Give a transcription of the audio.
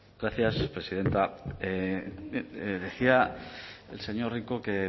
gracias presidenta decía el señor rico